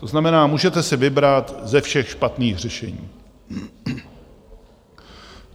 To znamená, můžete si vybrat ze všech špatných řešení.